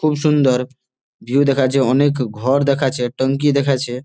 খুব সুন্দর ভিউ দেখা যাচ্ছে। অনেক ঘর দেখাচ্ছে. ট্যাংকী দেখাচ্ছে।